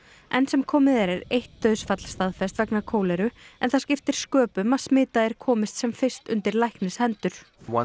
enn sem komið er eitt dauðsfall staðfest vegna en það skiptir sköpum að smitaðir komist sem fyrst undir læknishendur von